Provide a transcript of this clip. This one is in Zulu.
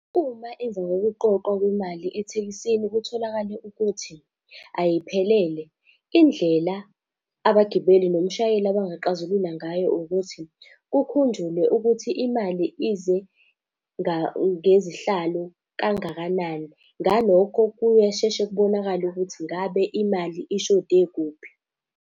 Uma emva kokuqoqwa kwemali ethekisini kutholakale ukuthi ayiphelele, indlela abagibeli nomshayeli abangaxazulula ngayo ukuthi, kukhunjulwe ukuthi imali ize ngezihlalo kangakanani. Ngalokho kuyasheshe kubonakale ukuthi ngabe imali ishode kuphi.